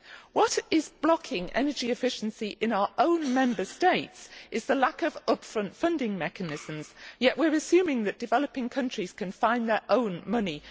What is blocking energy efficiency in our own Member States is the lack of up front funding mechanisms, yet we are assuming that developing countries can find their own money.